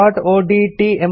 resumeಒಡಿಟಿ